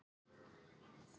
Síðasta sumarið í garðinum.